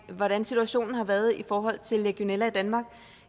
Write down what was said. hvordan situationen har været i forhold til legionella i danmark